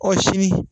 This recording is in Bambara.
Ɔ sini